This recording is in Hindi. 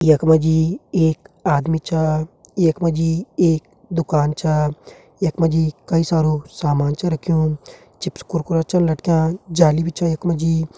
यखमा जी एक आदमी च यखमा जी एक दुकान च यखमा जी कई सारू सामान च रखयूं चिप्स कुरकुरा छन लटकियाँ जाली बि च यखमा जी।